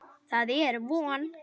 Það er von.